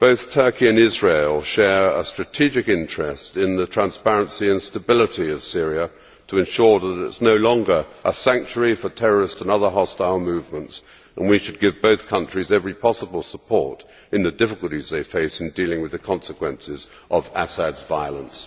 Turkey and Israel share a strategic interest in the transparency and stability of Syria, with a view to ensuring that it is no longer a sanctuary for terrorists and other hostile movements, and we should give both countries every possible support in the difficulties they face in dealing with the consequences of Assad's violence.